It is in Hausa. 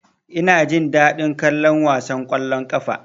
Ina jin daɗin kallon wasan ƙwallon ƙafan.